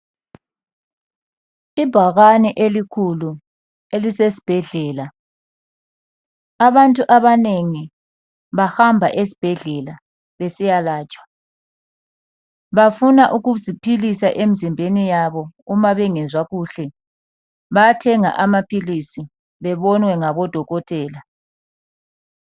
Ibhakane elikhulu elisesibhedlela, abantu abanengi bahamba esibhedlela besiyalatshwa. Bafuna ukuziphilisa emzimbeni yabo uma bengezwa kuhle. Bayathenga amaphilisi bebonwe ngabodokotela.